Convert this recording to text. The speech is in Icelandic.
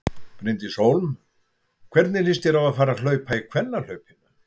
Bryndís Hólm: Hvernig líst þér á að fara að hlaupa í kvennahlaupinu?